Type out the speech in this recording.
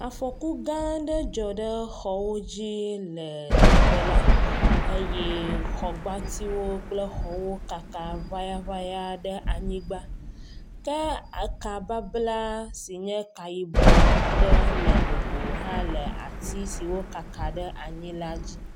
Afɔku gã aɖe dzɔ ɖe xɔwo dzi le teƒe la eye xɔgbatiwo kple xɔwo kaka ʋayaʋaya ɖe anyigba ke ekababla si nye ka yibɔ aɖe le nogo hã le ati siwo kaka ɖe anyi la dzi.